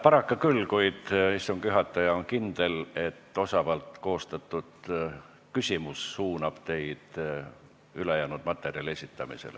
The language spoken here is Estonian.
Paraku küll, kuid istungi juhataja on kindel, et osavalt koostatud küsimus suunab teid ülejäänud materjali esitamisele.